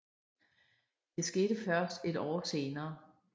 Det skete først et år senere